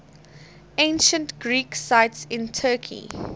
ancient greek sites in turkey